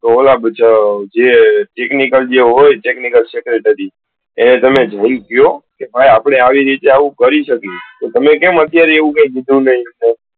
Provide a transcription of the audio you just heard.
તો તમે પેલા જે હોય technical હોય અને તમે જઈ ને કયો કે ભાઈ અપડે આવું કરી શકીએ.